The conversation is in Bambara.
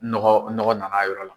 Nɔgɔ nɔgɔ na n'a yɔrɔ la.